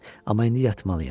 Amma indi yatmalıyam.